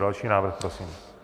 Další návrh prosím.